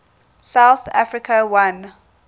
south africa won